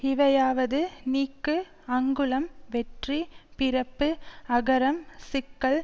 இவையாவது நீக்கு அங்குளம் வெற்றி பிறப்பு அகரம் சிக்கல்